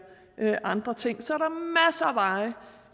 og andre ting